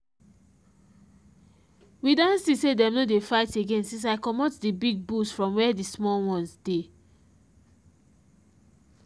we don see say them no dey fight again since i comot the big bulls from where the small ones dey.